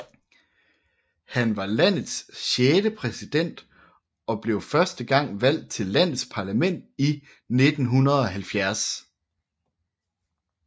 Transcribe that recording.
Han var landets sjette præsident og blev første gang valgt til landets parlament i 1970